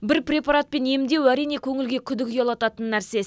бір препаратпен емдеу әрине көңілге күдік ұялататын нәрсе